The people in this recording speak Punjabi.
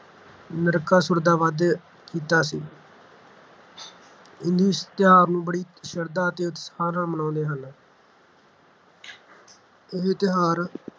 ਨਰਕਾਸੁਰ ਦਾ ਵੱਧ ਕੀਤਾ ਸੀ ਹਿੰਦੂ ਇਸ ਤਿਉਹਾਰ ਨੂੰ ਬੜੀ ਸ਼ਰਧਾ ਅਤੇ ਉਤਸ਼ਾਹ ਨਾਲ ਮਨਾਉਂਦੇ ਹਨ ਇਹ ਤਿਉਹਾਰ